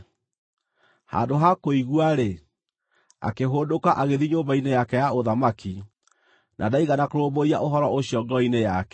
Handũ ha kũigua-rĩ, akĩhũndũka agĩthiĩ nyũmba-inĩ yake ya ũthamaki, na ndaigana kũrũmbũiya ũhoro ũcio ngoro-inĩ yake.